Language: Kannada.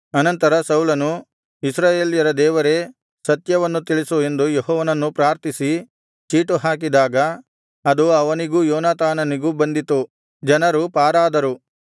ಅನಂತರ ಸೌಲನು ಇಸ್ರಾಯೇಲ್ಯರ ದೇವರೇ ಸತ್ಯವನ್ನು ತಿಳಿಸು ಎಂದು ಯೆಹೋವನನ್ನು ಪ್ರಾರ್ಥಿಸಿ ಚೀಟು ಹಾಕಿದಾಗ ಅದು ಅವನಿಗೂ ಯೋನಾತಾನನಿಗೂ ಬಂದಿತು ಜನರು ಪಾರಾದರು